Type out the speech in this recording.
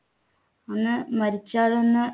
ഒന്ന് മരിച്ചാലോന്ന്